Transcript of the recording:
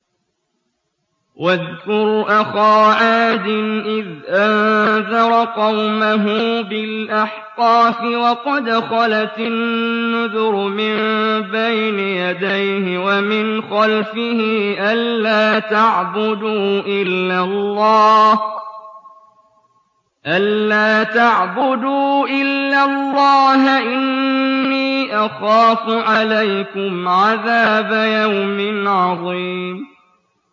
۞ وَاذْكُرْ أَخَا عَادٍ إِذْ أَنذَرَ قَوْمَهُ بِالْأَحْقَافِ وَقَدْ خَلَتِ النُّذُرُ مِن بَيْنِ يَدَيْهِ وَمِنْ خَلْفِهِ أَلَّا تَعْبُدُوا إِلَّا اللَّهَ إِنِّي أَخَافُ عَلَيْكُمْ عَذَابَ يَوْمٍ عَظِيمٍ